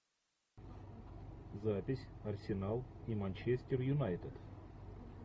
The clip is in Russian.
запись арсенал и манчестер юнайтед